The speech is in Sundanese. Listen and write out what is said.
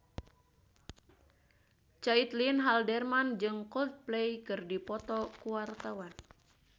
Caitlin Halderman jeung Coldplay keur dipoto ku wartawan